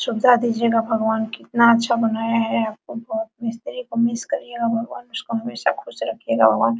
दीजियेगा भगवान कितना अच्छा बनाया है मिस्त्री को मिस करियेगा भगवान उसको हमेशा खुश रखियेगा भगवान।